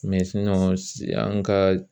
an ka